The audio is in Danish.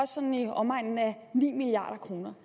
sådan i omegnen af ni milliard kroner